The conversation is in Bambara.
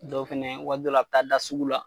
Dɔw fɛnɛ waati dɔ la , a be taa da sugu la.